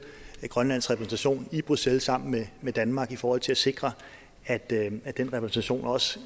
er grønlands repræsentation i bruxelles sammen med med danmark i forhold til at sikre at den repræsentation også